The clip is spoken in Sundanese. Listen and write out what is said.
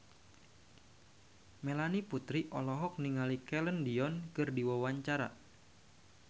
Melanie Putri olohok ningali Celine Dion keur diwawancara